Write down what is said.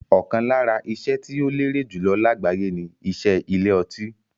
Ọ̀kan lára iṣẹ́ tí ó lérè jùlọ lágbàyé ni iṣẹ́ ilé ọtí.